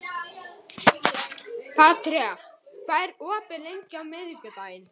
Petrea, hvað er opið lengi á miðvikudaginn?